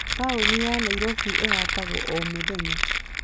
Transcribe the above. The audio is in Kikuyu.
Taũni ya Nairobi ĩhatagwo o mũthenya.